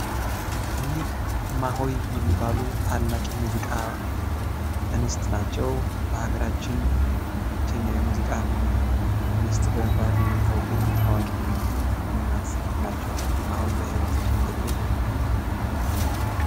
እኒህ እማሆይ የሚባሉ ትልቅ የሙዚቃ እንስት ናቸው። በሀገራችን ብቸኛ የሙዚቃ እንስት በመባል የሚታወቁ ታዋቂ እናት ናቸው። አሁን በህይወት የሉም።